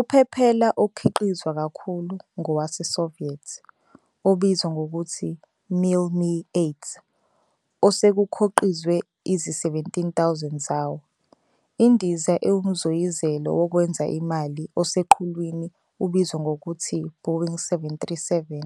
Uphephela okhiqizwa kakhulu ngowase-Soviet obizwa ngokuthi "Mil Mi-8", osekukhoqizwe izi-17,000 zawo. INdiza ewumzoyizelo wokwenza imali oseqhulwini ubizwa ngokuthi "Boeing 737",